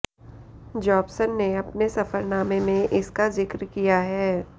Jobson ने अपने सफ़रनामे में इसका ज़िक्र किया है